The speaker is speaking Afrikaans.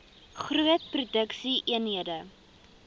groot produksie eenhede